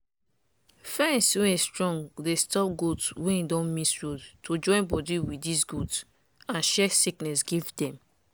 fence wey strong dey stop goat wey don miss road to join body with dis goat and share sickness give dem.